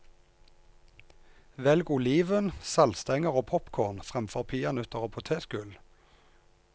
Velg oliven, saltstenger og popcorn fremfor peanøtter og potetgull.